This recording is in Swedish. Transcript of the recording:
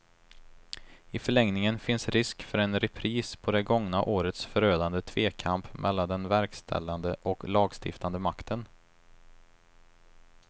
I förlängningen finns risk för en repris på det gångna årets förödande tvekamp mellan den verkställande och lagstiftande makten.